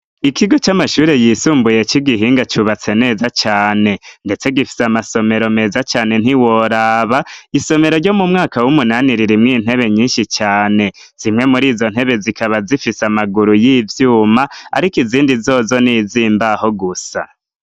Ikigo c'amashuri yisumbuye c'i Gihinga cubatse neza cane. Ndetse gifise amasomero meza cane ntiworaba, isomero ryo mu mwaka w'umunani ririmwo intebe nyinshi cane. Zimwe muri izo ntebe zikaba zifise amaguru y'ivyuma, ariko izindi zozo ni iz'imbaho gusa.